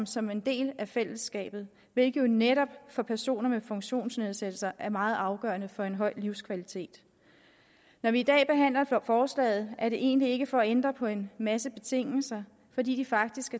som en del af fællesskabet hvilket jo netop for personer med funktionsnedsættelse er meget afgørende for en høj livskvalitet når vi i dag behandler forslaget er det egentlig ikke for at ændre på en masse betingelser fordi de faktisk